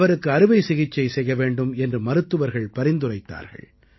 அவ்ருக்கு அறுவைசிகிச்சை செய்ய வேண்டும் என்று மருத்துவர்கள் பரிந்துரைத்தார்கள்